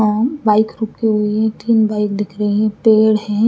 और बाइक रुकी हुई हैं तीन बाइक दिख रही हैं पेड़ हैं।